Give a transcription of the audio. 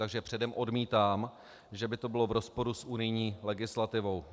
Takže předem odmítám, že by to bylo v rozporu s unijní legislativou.